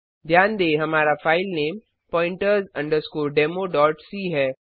ध्यान दें हमारा फाइलनेम pointers democ है